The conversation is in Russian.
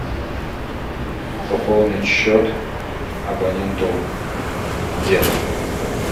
пополнить счет абоненту дед